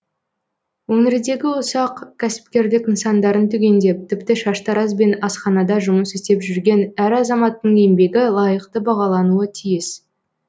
өңірдегі ұсақ кәсіпкерлік нысандарын түгендеп тіпті шаштараз бен асханада жұмыс істеп жүрген әр азаматтың еңбегі лайықты бағалануы тиіс